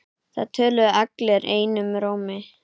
Það töluðu allir einum rómi.